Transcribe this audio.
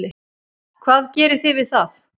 Hvað gerið þið við það?